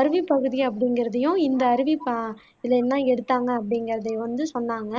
அருவிப்பகுதி அப்படிங்குறதையும் இந்த அருவி ப இதுல இருந்து தான் எடுத்தாங்க அப்படிங்குறதையும் வ்னது சொன்னாங்க